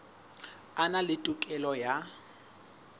a na le tokelo ya